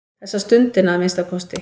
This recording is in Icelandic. Þessa stundina að minnsta kosti.